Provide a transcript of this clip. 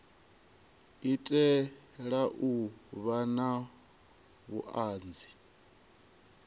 itela u vha na vhuanzi